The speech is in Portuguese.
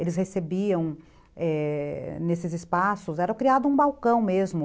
eles recebiam, é... nesses espaços, era criado um balcão mesmo.